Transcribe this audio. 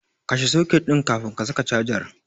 Kashe soket ɗin kafin ka saka cajar.